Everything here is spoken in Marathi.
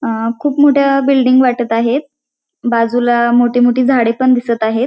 अ खूप मोठ्या बिल्डिंग वाटत आहेत बाजूला मोठी मोठी झाडे पण दिसत आहेत.